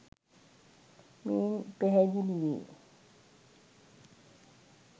මෙයින් පැහැදිලි වේ.